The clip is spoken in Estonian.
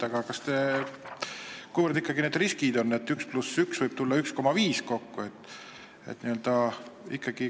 Aga kuivõrd ikkagi on neid riske, et üks pluss üks võib tulla kokku 1,5?